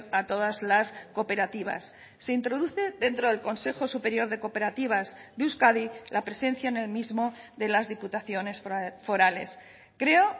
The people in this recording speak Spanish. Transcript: a todas las cooperativas se introduce dentro del consejo superior de cooperativas de euskadi la presencia en el mismo de las diputaciones forales creo